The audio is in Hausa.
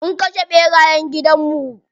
Mun kashe ɓerayen gidan mu.